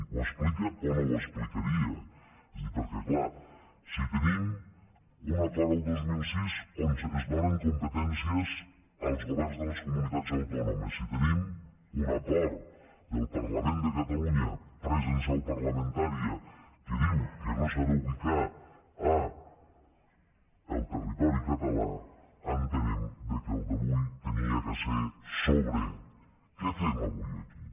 ho explica o no ho explicaria és a dir perquè clar si tenim un acord el dos mil sis on es donen competències als governs de les comunitats autònomes i tenim un acord del parlament de catalunya pres en seu parlamentària que diu que no s’ha d’ubicar al territori català entenem que el d’avui havia de ser sobre què fem avui aquí